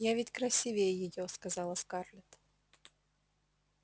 я ведь красивее её сказала скарлетт